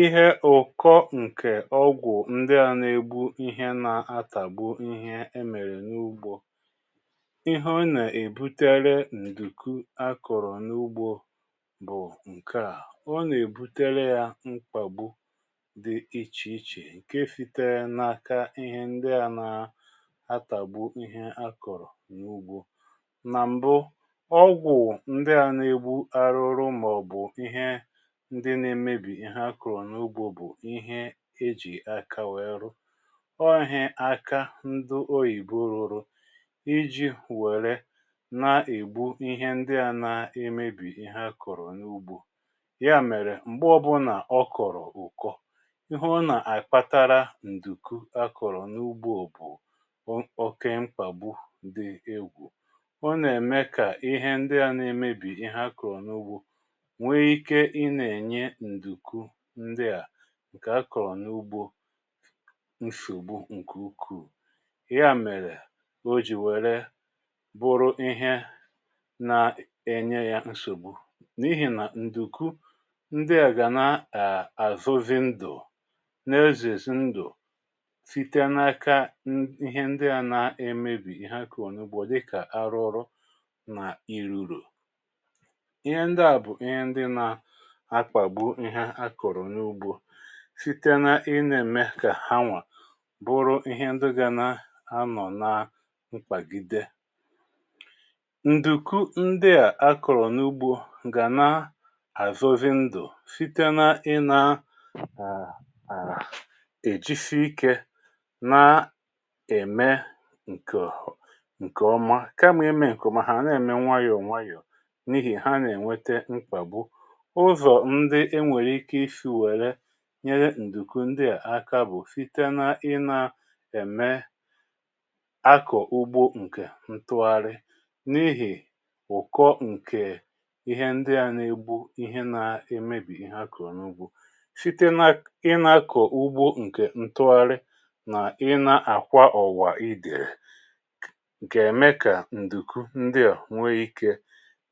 Ihẹ ụ̀kọ ǹkè ọgwụ̀ ndi a nà-ègbu ihẹ na-atàgbu ihẹ e mèrè n’ugbȯ. Ihẹ ọ nà-èbutere ǹdùku a kọ̀rọ̀ n’ugbȯ bụ̀ ǹkè a: ọ nà-èbutere ya mkpàgbu dị ichè ichè ǹke sitere n’aka ihẹ ndị a nà-atàgbu ihẹ a kọ̀rọ̀ n’ugbȯ. Nà m̀bụ, ọgwụ̀ ndi à nà-ègbu ahụhụ mà ọ̀ bụ̀ ihe ndị n’emebì ihe a kọ̀rọ̀ n’ugbo bụ̀ ihe ejì aka wee rụ̇. Ọ ihe aka ndị oyìbo rụrụ, iji wėre na-ègbu ihe ndị à nà-emebì ihe a kọ̀rọ̀ n’ugbȯ. Ya mèrè m̀gbe ọ bụ̇ nà ọ kọ̀rọ̀ ụ̀kọ, ihe ọ nà-àkpatara ǹdùku akọ̀rọ̀ n’ugbo bụ̀, oke mkpàgbù dị egwù. Ọ nà-ème kà ihe ndị à na-emebì ihe akọ̀rọ̀ n’ugbȯ, nwe ike ị n’enye nduku ndị a ǹkè a kọ̀rọ̀ n’ugbȯ nsògbu ǹkè ukwu̇. Ya mèrè o jì wère bụrụ ihe na-enye ya nsògbu, n’ihi nà ǹdùku ndị a gà na àzọ zi ndụ̀, n’ezezi ndụ̀ site n’aka ihe ndị a na-emebì ihe a kọ̀rọ nà ugbo dịkà ahụhụ na iruru̇. Ihe ndị a bụ ihe ndị n’akpagbu ihe a kọrọ n’ugbo síte na i na-ème kà ha nwà bụrụ ihe ndị gà na-anọ̀ na mkpàgide. Ndùku ndị à a kọrọ n’ugbȯ gà na-àzọzi ndụ̀ síte na i na a à èjisi ikė na-ème ǹkè nke ọma, kamà imè ǹkè ọma ha na-ème nwayọ̀ nwayọ̀ n’ihì ha nà-ènwete mkpàbu. Ụzọ ndị e nwere ike isi were nyere ǹdùkú ndi à aka bụ̀ site na ị na-ème akọ̀ ugbo ǹkè ntụgharị n’ihì ụ̀kọ ǹkè ihe ndi a nà-egbu ihe na-emebì ihe a kọ̀rọ n’ugbȯ, site na ị na-akọ̀ ugbo ǹkè ntụgharị nà i na-àkwa ọ̀wà ide g’eme kà ǹdùkú ndị a nwee ikė,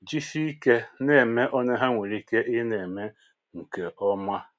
jisie ikė na-ème ole ha nwèrè ike ị na-ème ǹké ọ́ma.